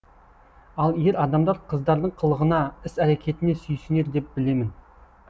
ал ер адамдар қыздардың қылығына іс әрекетіне сүйсінер деп білемін